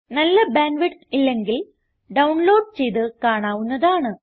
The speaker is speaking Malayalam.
നല്ല ബാൻഡ് വിഡ്ത്ത് ഇല്ലെങ്കിൽ ഡൌൺലോഡ് ചെയ്ത് കാണാവുന്നതാണ്